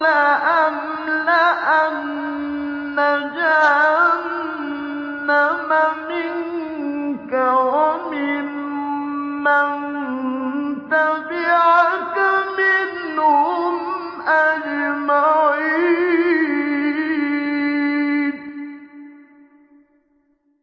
لَأَمْلَأَنَّ جَهَنَّمَ مِنكَ وَمِمَّن تَبِعَكَ مِنْهُمْ أَجْمَعِينَ